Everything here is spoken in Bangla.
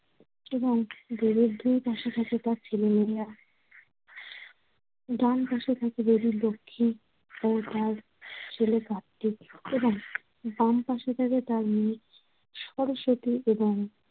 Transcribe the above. এবং দেবীর দুইপাশে থাকে তার ছেলেমেয়েরা। ডান পাশে থাকে দেবীর লক্ষ্মী ও তার ছেলে কার্তিক এবং বামপাশে থাকে তার মেয়ে সরস্বতী এবং